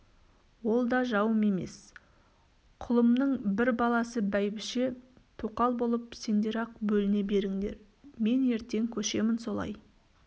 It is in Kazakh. ол да жауым емес құлымның бір баласы бәйбіше-тоқал болып сендер-ақ бөліне беріңдер мен ертең көшемін солай